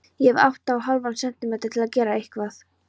Ég hef átta og hálfan sentímetra til að gera eitthvað.